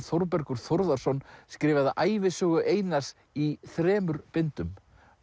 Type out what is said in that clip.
Þórbergur Þórðarson skrifaði ævisögu Einars í þremur bindum